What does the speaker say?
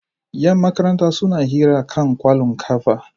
Yan makaranta suna hira kan kwallon ƙafa.